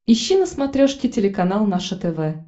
ищи на смотрешке телеканал наше тв